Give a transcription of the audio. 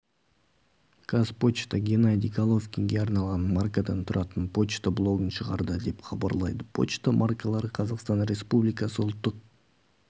қазпошта геннадий головкинге арналған маркадан тұратын пошта блогын шығарды деп хабарлайды пошта маркалары қазақстан республикасы ұлттық